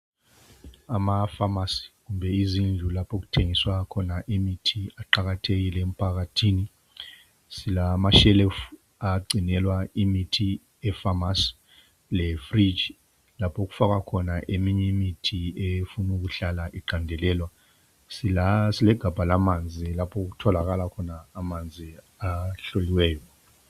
Amapharmacy, kumbe izindlu lapho okuthengiswa khona imithi aqakathekile emphakathini. Silamashelufu, agcinelwa imithi epharmacy. Lefriji lapho okufakwa khona eminye imithi efuna ukuhlala iqandelela. Silegabha lamanzi, lapho okugcinelwa khona amanzi ahloliweyo.